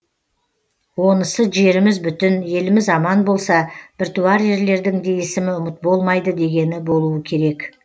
онысы жеріміз бүтін еліміз аман болса біртуар ерлердің де есімі ұмыт болмайды дегені болуы керек